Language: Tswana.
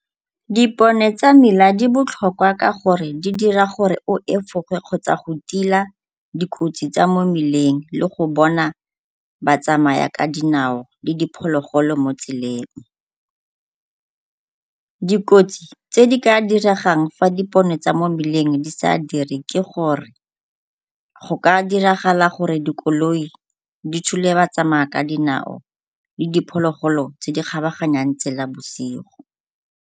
Dipone tsa mela di botlhokwa ka gore di dira gore o efoge kgotsa go tila dikotsi tsa mo mmileng le go bona ba tsamaya ka dinao le diphologolo mo tseleng. Dikotsi tse di ka diregang fa dipone tsa mo mmileng di sa dire ke gore go ka diragala gore dikoloi di thule batsamaya ka dinao le diphologolo tse di kgabaganyang tsela bosigo.